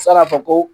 San'a ka fɔ ko